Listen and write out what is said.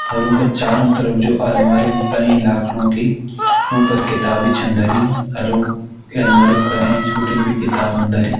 और उंका का चारों तरफ जु अलमारी बड़ी लाखड़ों की उं पर किताबि छन धरी अर उं अलमारियों का एंच बिटिन भी किताबन धरी।